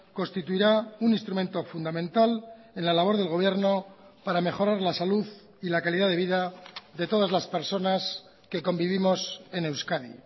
constituirá un instrumento fundamental en la labor del gobierno para mejorar la salud y la calidad de vida de todas las personas que convivimos en euskadi